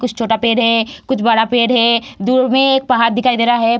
कुछ छोटा पेड़ है कुछ बड़ा पेड़ है दूर में एक पहाड़ दिखाई दे रहा है।